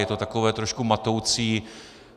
Je to také trošku matoucí.